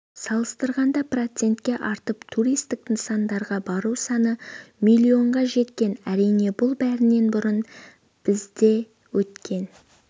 салыстырғанда процентке артып туристік нысандарға бару саны миллионға жеткен әрине бұл бәрінен бұрын бізде өткен